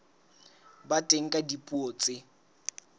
ba teng ka dipuo tse